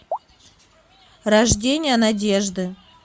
рождение надежды